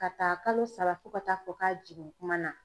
Ka ta kalo saba fo ka taa fɔ k'a jigin kuma na